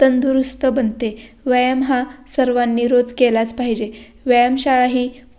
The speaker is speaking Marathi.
तंदुरस्त बनते व्यायाम हा सर्वांनी रोज केलाच पाहिजे व्यायम शाळा ही--